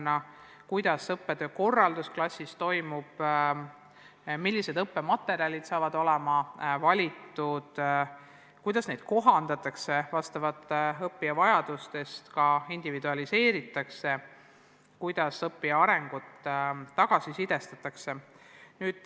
Õpetaja otsustab, kuidas õppetöö klassis toimub, millised õppematerjalid valitakse, kuidas neid kohandatakse ja vastavalt õppijate vajadustele ka individualiseeritakse, kuidas õppija arengut tagasisidestatakse.